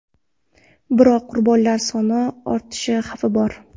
Biroq qurbonlar soni ortishi xavfi bor.